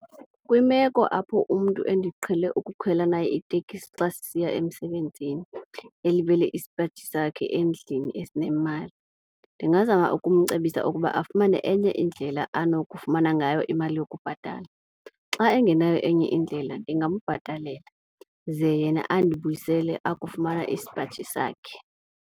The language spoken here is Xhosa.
Kwimeko apho umntu endiqhele ukukhwela naye itekisi xa sisiya emsebenzini elibele isipaji sakhe endlini esinemali, ndingazama ukumcebisa ukuba afumane enye indlela anokufumana ngayo imali yokubhatala. Xa engenayo enye indlela ndingambhatalela ze yena andibuyisele akufumana isipaji sakhe.